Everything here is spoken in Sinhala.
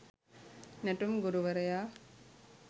නැටුම් ගුරුවරයා.